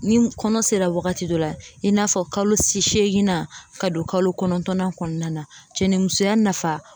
Ni kɔnɔ sera wagati dɔ la i n'a fɔ kalo seeginnan ka don kalo kɔnɔntɔnnan kɔnɔna na cɛnimusoya nafa